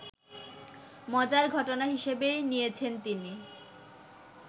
মজার ঘটনা হিসেবেই নিয়েছেন তিনি